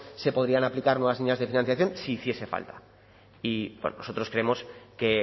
se podrían aplicar nuevas líneas de financiación si hiciese falta y nosotros creemos que